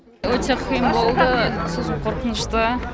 өте қиын болды сосын қорқынышты